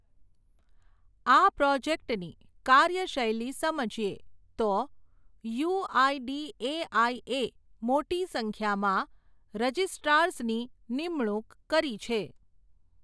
આ પ્રોજેક્ટની, કાર્યશૈલી સમજીએ, તો, યુઆઇડીએઆઈએ, મોટી સંખ્યામાં, રજિસ્ટ્રાર્ઝની, નિમણુંક કરી છે.